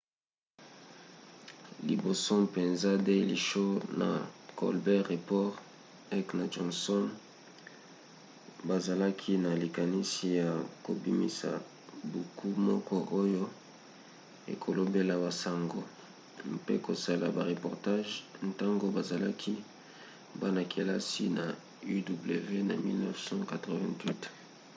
liboso mpenza daily show na colbert report heck na johnson bazalaki na likanisi ya kobimisa buku moko oyo ekolobelaka basango - mpe kosala bareportage - ntango bazalaki bana-kelasi na uw na 1988